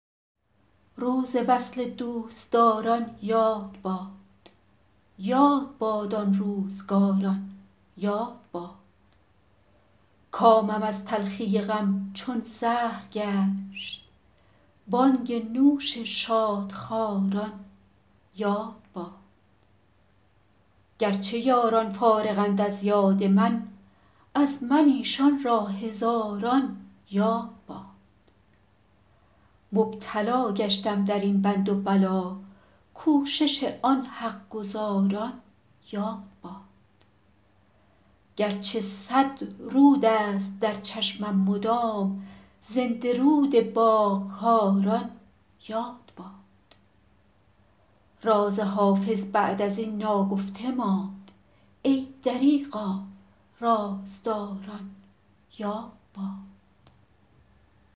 روز وصل دوستداران یاد باد یاد باد آن روزگاران یاد باد کامم از تلخی غم چون زهر گشت بانگ نوش شادخواران یاد باد گر چه یاران فارغند از یاد من از من ایشان را هزاران یاد باد مبتلا گشتم در این بند و بلا کوشش آن حق گزاران یاد باد گر چه صد رود است در چشمم مدام زنده رود باغ کاران یاد باد راز حافظ بعد از این ناگفته ماند ای دریغا رازداران یاد باد